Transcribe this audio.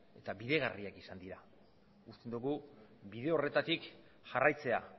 eta bideragarriak izan dira uste dugu bide horretatik jarraitzea